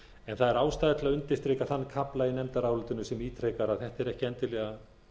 en það er ástæða til að undirstrika þann kafla í nefndarálitinu sem ítrekar að þetta er ekki endilega